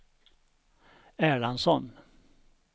Erlandsson